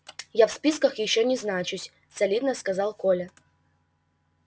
я в списках ещё не значусь солидно сказал коля